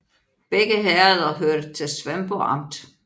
Begge herreder hørte til Svendborg Amt